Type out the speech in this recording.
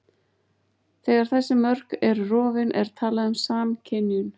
þegar þessi mörk eru rofin er talað um samskynjun